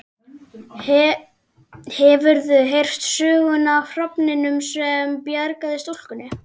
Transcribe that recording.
Hefurðu heyrt söguna af hrafninum sem bjargaði stúlkunni?